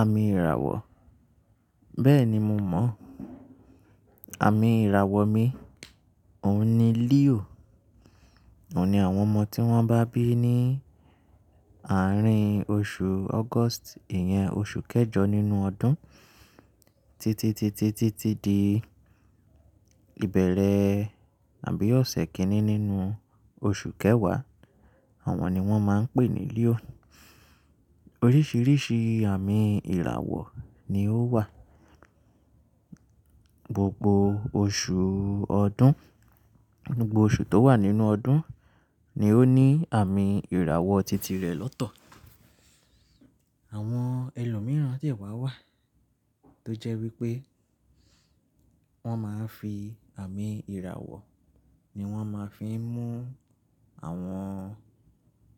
Àmì ìràwọ̀, bẹ́ẹ̀ni mo mọ̀. Àmì ìràwọ̀ mi òun ni Leo. Òun ni àwọn ọmọ tí wọ́n bá bí ní àárín oṣù August, ìyẹn oṣù kẹjọ nínú ọdún títí, títí, títí di ìbẹ̀rẹ̀ àbí ọ̀sẹ̀ kìíní nínú oṣù kẹwàá, àwọn ni wọ́n máa ń pè ní Leo. Oríṣìíríṣìí àmì ìràwọ̀ ni ó wà. Gbogbo oṣù ọdún, gbogbo oṣù tó wà nínú ọdún ni ó ní àmì ìràwọ̀ titi rẹ̀ lọ́tọ̀. Àwọn ẹlòmíràn de wá wà tó jẹ́ wípé wọ́n máa ń fi àmì ìràwọ̀ ni wọ́n máa ń fi ń mú àwọn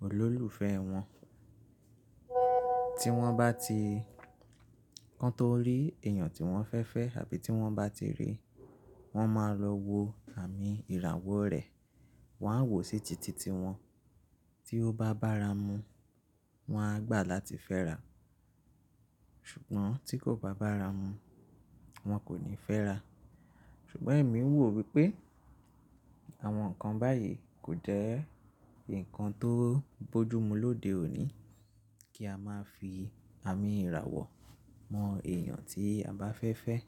olólùfẹ́ wọn. Tí wọ́n bá ti kan tó rí èèyàn tí wọ́n fẹ́fẹ́ àbí tí wọ́n bá ti ríi, wọ́n máa lọ wo àmì ìràwọ̀ rẹ̀, wọn á wò sí titi ti wọn. Tí ó bá bára mu, wọn á gbà láti fẹ́ra, ṣùgbọ́n tí kò bá bára mu, wọn kò ní fẹ́ra. Ṣùgbọ́n èmi ń wò wípé àwọn nǹkan báyìí kò jẹ́ ǹkan tó bójú mú lóde òní kí a máa fi àmì ìràwọ̀ mọ èèyàn tí a bá fẹ́ fẹ́.